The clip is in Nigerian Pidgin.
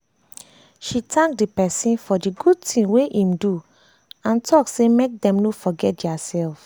she thank the person for the good thing wey im do and talk say make dem no forget their self